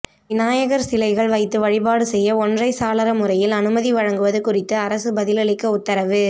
விநாயகர் சிலைகள் வைத்து வழிபாடு செய்ய ஒற்றை சாளர முறையில் அனுமதி வழங்குவது குறித்து அரசு பதிலளிக்க உத்தரவு